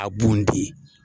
A bunte.